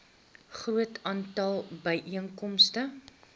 groot aantal byeenkomste